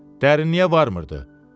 Dərinliyə varmırdı.